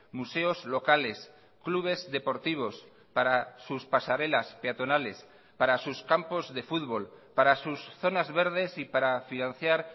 museos locales clubes deportivos para sus pasarelas peatonales para sus campos de fútbol para sus zonas verdes y para financiar